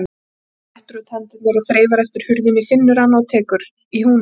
Hann réttir út hendurnar og þreifar eftir hurðinni, finnur hana og tekur í húninn.